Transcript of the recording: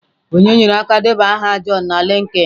Onye nyere aka debanye aha john na LinkedIn?